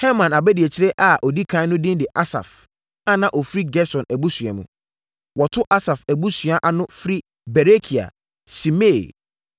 Herman abadiakyire a ɔdi ɛkan no din de Asaf, a na ɔfiri Gerson abusua mu. Wɔto Asaf abusuadua ana firi Berekia, Simea,